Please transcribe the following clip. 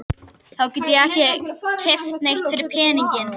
Þá get ég ekki keypt neitt fyrir peninginn.